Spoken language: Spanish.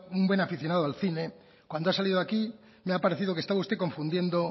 un buen aficionado al cine cuando ha salido aquí me ha parecido que estaba usted confundiendo